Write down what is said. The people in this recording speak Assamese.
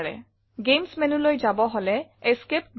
গেমছ menuলৈ যাব হলে Esc ২বাৰ টিপক